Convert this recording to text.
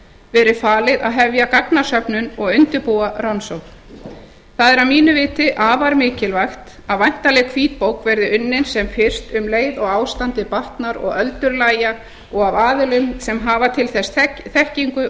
verið falið að hefja gagnasöfnun og undirbúa rannsókn það er að mínu viti afar mikilvægt að væntanleg hvítbók verði unnin sem fyrst um leið og ástandið batnar og öldur lægja og af aðilum sem hafa til þess þekkingu dag